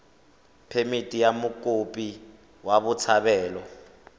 phemithi ya mokopi wa botshabelo